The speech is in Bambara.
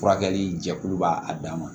Furakɛli jɛkulu b'a a dan ma